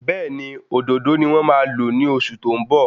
Béèni òdòdó ni wón máa lo ni oṣù tó ń bọ̀